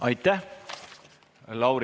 Aitäh!